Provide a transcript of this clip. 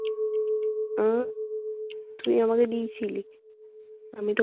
উম তুই আমাকে দিয়েছিলিস। আমি তো